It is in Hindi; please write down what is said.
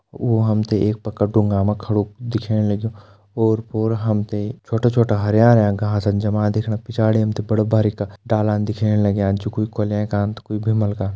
व हम तें एक पक्का डुंगा मा खडू दिखेण लग्युं ओर पोर हम तें छोटा छोटा हरयाँ हरयाँ घासन जमा दिखेणा पिछाड़ी हम ते बड़ा बारीक डाला दिखेण लग्यां जो कोई कुलें का कोई भिमल का।